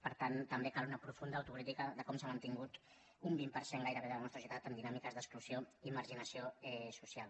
per tant també cal una profunda autocrítica de com s’ha mantingut un vint per cent gai·rebé de la nostra societat en dinàmiques d’exclusió i marginació social